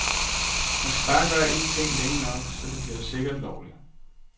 Man bare skal gøre en ting længe nok, så bliver det sikkert lovligt.